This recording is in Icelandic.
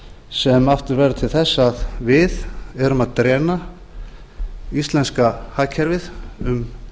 sem aftur verður til þess að við erum að íslenska hagkerfið um